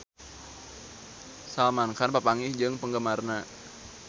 Salman Khan papanggih jeung penggemarna